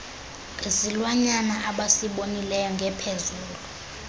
ngesilwanyana abesibonile ngepheezolo